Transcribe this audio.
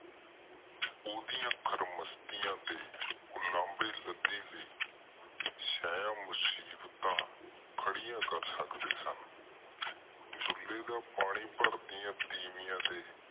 ਓਹਦਾ ਖਰਮਸਤੀਆਂ ਦੇ ਉਲੰਬੇ ਲਾਡੀ ਲਾਇ ਸਹਿ ਮੁਸੀਬਤਾਂ ਖਰੀਆਂ ਕਰ ਸਕਦੇ ਸਨ ਦੁਲੇ ਦਾ ਪਾਣੀ ਭਰਦੀਆਂ ਤੀਮੀਆਂ ਦੇ